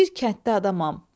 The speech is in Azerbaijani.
Bir kənddə adamam.